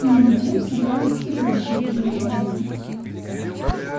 между тем собрались и прочие приглашённые